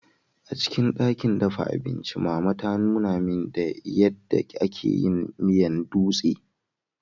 Acikin dakin dafa abinci, mama ta Nuna min, ya da ake yin miyan dutse.